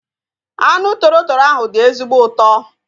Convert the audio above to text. Anụ toro toro ahu dị ezigbo ụtọ